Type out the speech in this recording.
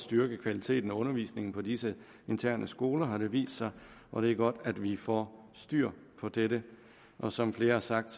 styrke kvaliteten af undervisningen på disse interne skoler har det vist sig og det er godt at vi får styr på dette som flere har sagt